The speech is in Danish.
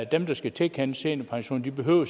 dem der skal tilkendes seniorpension behøver